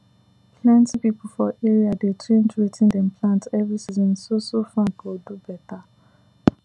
plenty people for area dey change wetin dem plant every season so so farm go do better